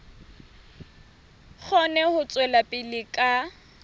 kgone ho tswela pele ka